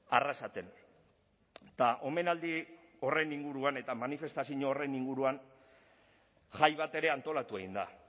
arrasaten eta omenaldi horren inguruan eta manifestazio horren inguruan jai bat ere antolatu egin da